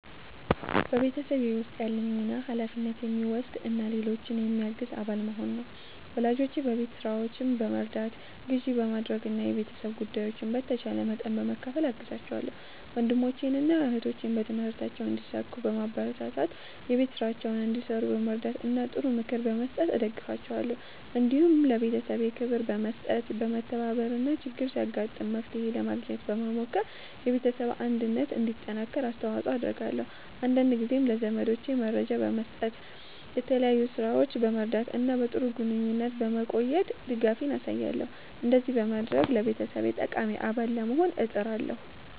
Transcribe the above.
በቤተሰቤ ውስጥ ያለኝ ሚና ኃላፊነት የሚወስድ እና ሌሎችን የሚያግዝ አባል መሆን ነው። ወላጆቼን በቤት ሥራዎች በመርዳት፣ ግዢ በማድረግ እና የቤተሰብ ጉዳዮችን በተቻለ መጠን በመካፈል እገዛቸዋለሁ። ወንድሞቼንና እህቶቼን በትምህርታቸው እንዲሳኩ በማበረታታት፣ የቤት ሥራቸውን እንዲሠሩ በመርዳት እና ጥሩ ምክር በመስጠት እደግፋቸዋለሁ። እንዲሁም ለቤተሰቤ ክብር በመስጠት፣ በመተባበር እና ችግር ሲያጋጥም መፍትሄ ለማግኘት በመሞከር የቤተሰብ አንድነት እንዲጠናከር አስተዋጽኦ አደርጋለሁ። አንዳንድ ጊዜም ለዘመዶቼ መረጃ በመስጠት፣ በተለያዩ ሥራዎች በመርዳት እና በጥሩ ግንኙነት በመቆየት ድጋፌን አሳያለሁ። እንደዚህ በማድረግ ለቤተሰቤ ጠቃሚ አባል ለመሆን እጥራለሁ።"